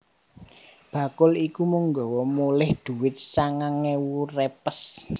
Bakul iku mung nggawa moleh dhuwit sangang ewu repes